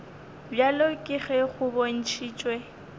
bjalo ka ge go bontšhitšwe